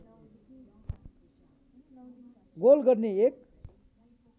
goal गर्ने एक